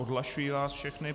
Odhlašuji vás všechny.